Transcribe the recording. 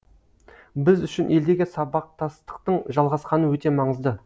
біз үшін елдегі сабақтастықтың жалғасқаны өте маңызды